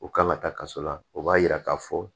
U kan ka taa kaso la o b'a yira k'a fɔ